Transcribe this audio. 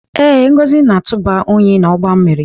Ee, Ngozi na-atụba unyi n'ọgba mmiri.